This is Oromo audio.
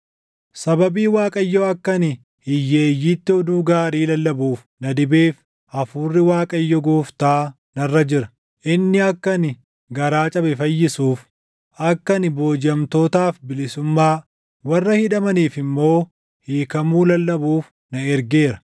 Sababii Waaqayyo akka ani hiyyeeyyiitti oduu gaarii lallabuuf na dibeef, Hafuurri Waaqayyo Gooftaa narra jira. Inni akka ani garaa cabe fayyisuuf, akka ani boojiʼamtootaaf bilisummaa, warra hidhamaniif immoo hiikamuu lallabuuf na ergeera;